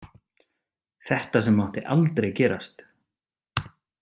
Þetta sem mátti aldrei gerast.